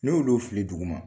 N'i ulu fili duguma.